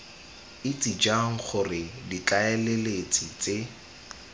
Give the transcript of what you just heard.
itse jang gore ditlaleletsi tse